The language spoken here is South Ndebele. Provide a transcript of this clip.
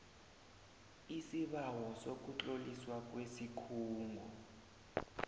isibawo sokutloliswa kwesikhungo